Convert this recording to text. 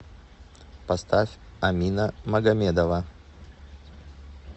поставь амина магомедова